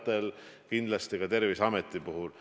Seda kindlasti ka Terviseameti puhul.